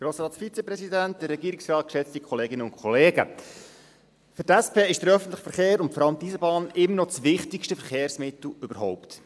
Für die SP ist der öffentliche Verkehr und vor allem die Eisenbahn immer noch das wichtigste Verkehrsmittel überhaupt.